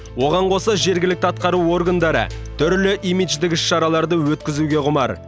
оған қоса жергілікті атқару органдары түрлі имидждік іс шараларды өткізуге құмар